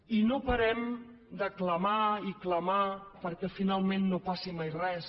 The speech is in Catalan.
i no parem de clamar i clamar perquè finalment no passi mai res